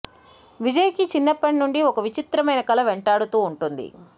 విజయ్ కి చిన్నప్పటి నుంచి ఒక విచిత్రమైన కల వెంటాడుతూ ఉంటుంది